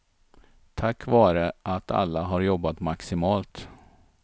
Tack vare att alla har jobbat maximalt.